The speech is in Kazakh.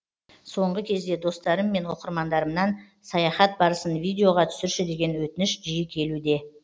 соңғы кезде достарым мен оқырмандарымнан саяхат барысын видеоға түсірші деген өтініш жиі келуде